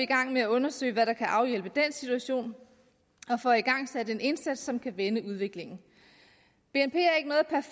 gang med at undersøge hvad der kan afhjælpe den situation og får igangsat en indsats som kan vende udviklingen bnp